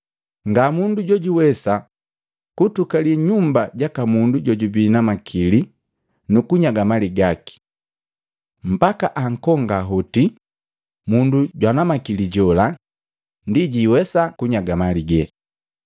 “Ngamundu jojuwesa kutukalii nyumba jaka mundu jojubii na makili nukunyaga mali gaki. Mbaka ankonga hoti mundu jwana makili jola, ndi jiwesa kunyaga mali gee.